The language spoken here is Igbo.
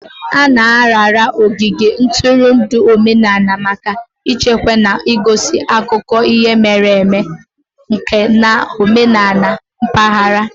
A na-arara ogige ntụrụndụ omenala maka ichekwa na igosi akụkọ ihe mere eme, nka na omenala mpaghara.